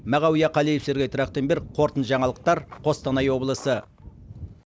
мағауия қалиев сергей трахтенберг қортынды жаңалықтар қостанай облысы